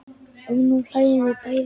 Og nú hlæjum við bæði.